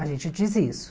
A gente diz isso.